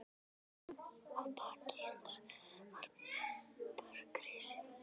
Að baki hans var borg risin.